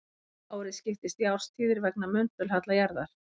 Árið skiptist í árstíðir vegna möndulhalla jarðar.